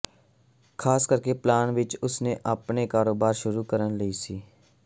ਖ਼ਾਸ ਕਰਕੇ ਪਲਾਨ ਵਿੱਚ ਉਸ ਨੇ ਆਪਣਾ ਕਾਰੋਬਾਰ ਸ਼ੁਰੂ ਕਰਨ ਲਈ ਸੀ